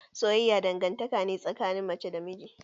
Soyayya dangantaka ce tsakanin mace da namiji.